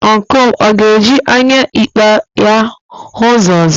Ọncụl m ọ ga-eji anya ekpe ya hụ ụzọ ọzọ?